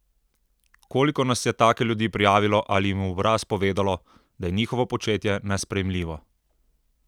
Koliko nas je take ljudi prijavilo ali jim v obraz povedalo, da je njihovo početje nesprejemljivo?